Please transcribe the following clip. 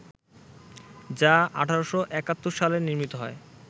যা ১৮৭১ সালে নির্মিত হয়